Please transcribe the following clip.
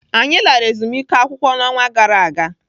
Anyị lara ezumike ụlọakwụkwọ n'ọnwa gara aga.